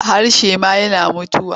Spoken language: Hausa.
Harshe ma yana mutuwa.